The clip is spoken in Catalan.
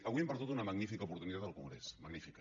avui hem perdut una magnífica oportunitat al congrés magnífica